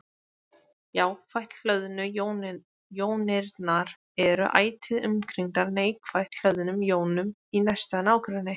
Jákvætt hlöðnu jónirnar eru ætíð umkringdar neikvætt hlöðnum jónum í næsta nágrenni.